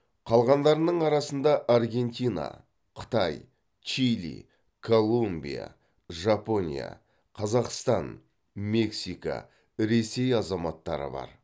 қалғандарының арасында аргентина қытай чили колумбия жапония қазақстан мексика ресей азаматтары бар